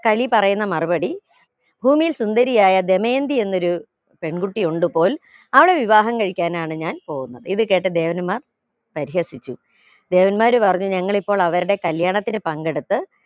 കലി പറയുന്ന മറുപടി ഭൂമിയിൽ സുന്ദരിയായ ദമയന്തി എന്നൊരു പെൺകുട്ടി ഉണ്ട്പോൽ അവളെ വിവാഹം കഴിക്കാനാണ് ഞാൻ പോകുന്നത് ഇത് കേട്ട ദേവന്മാർ പരിഹസിച്ചു ദേവന്മാർ പറഞ്ഞു ഞങ്ങൾ ഇപ്പോൾ അവരുടെ കല്യാണത്തിന് പങ്കെടുത്ത്